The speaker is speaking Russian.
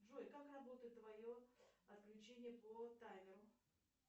джой как работает твое отключение по таймеру